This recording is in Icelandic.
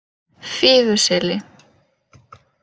Fífuseli